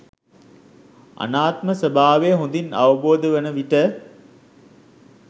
අනාත්ම ස්වභාවය හොඳින් අවබෝධ වන විට